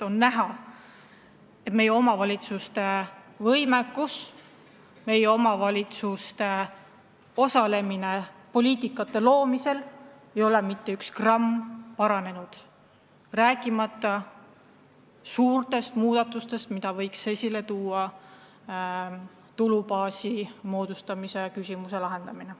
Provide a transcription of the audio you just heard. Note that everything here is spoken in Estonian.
On näha, et meie omavalitsuste võimekus, omavalitsuste osalemine poliitikate väljatöötamisel ei ole mitte üks gramm paranenud, rääkimata suurtest muudatustest, mida võiks võimaldada tulubaasi moodustamise küsimuse lahendamine.